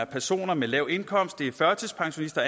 personer med lav indkomst herunder førtidspensionister